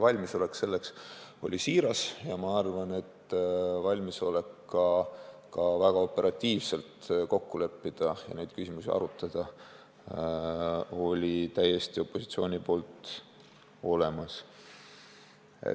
Valmisolek selleks oli siiras ja ma arvan, et ka valmisolek väga operatiivselt kokku leppida ja neid küsimusi arutada oli opositsioonil täiesti olemas.